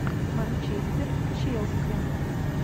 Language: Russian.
манчестер челси